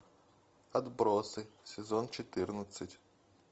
отбросы сезон четырнадцать